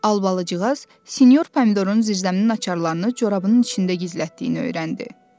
Albalıcığaz sinyor Pomidorun zirzəminin açarlarını corabının içində gizlətdiyini öyrəndi.